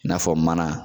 I n'a fɔ mana